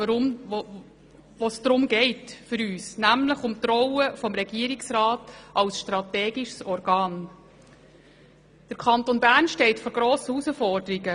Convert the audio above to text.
Um die Rolle des Regierungsrats als strategisches Organ, denn der Kanton Bern steht vor grossen Herausforderungen.